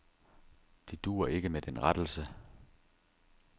Det duer ikke med den rettelse.